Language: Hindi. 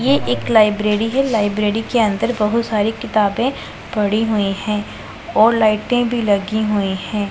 ये एक लाइब्रेरी है लाइब्रेरी के अंदर बहोत सारी किताबें पड़ी हुई है और लाइटें भी लगी हुई है।